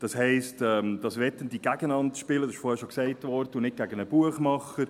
Das heisst, dass Wettende spielen – dies wurde vorhin bereits gesagt – und nicht gegen einen Buchmacher.